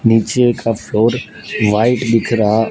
नीचे का floor white दिख रहा--